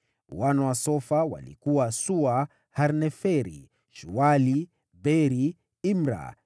Wana wa Sofa walikuwa: Sua, Harneferi, Shuali, Beri, Imra,